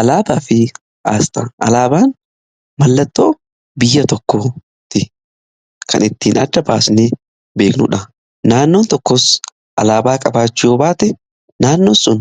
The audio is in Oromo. Alaabaa fi aasxaa: Alaabaan mallattoo biyya tokkooti. Kan ittiin adda baasnee beeknuudha. Naannoon tokkos alaabaa qabaachuu baate naannoo sun